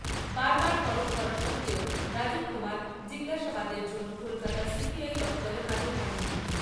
বারবার তলব করা সত্ত্বেও রাজীব কুমার জিজ্ঞাসাবাদের জন্য কলকাতার সিবিআই দপ্তরে হাজির হননি।